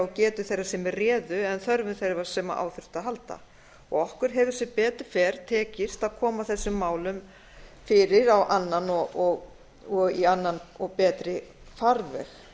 og getu þeirra sem réðu en þörfum þeirra sem á þurftu að halda okkur hefur sem betur fer tekist að koma þessum málum fyrir og í annan og betri farveg